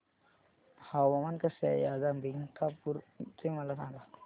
हवामान कसे आहे आज अंबिकापूर चे मला सांगा